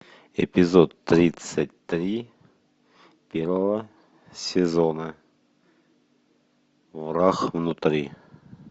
эпизод тридцать три первого сезона враг внутри